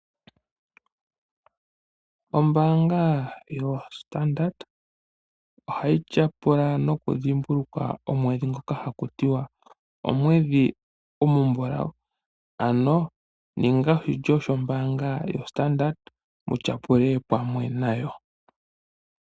Ombaanga yoStandard ohayi tya pula nokudhimbulukwa weshi ngoka haku ti wa omwedhi omumbulawu, ano ninga oshilyo shombaanga yoStandard wutya pule pamwe nayo.